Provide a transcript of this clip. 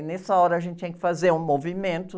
E nessa hora a gente tinha que fazer um movimento.